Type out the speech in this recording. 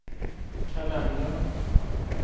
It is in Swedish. kalender